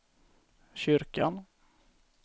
kyrkan